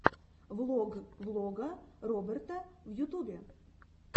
влог влога роберта в ютубе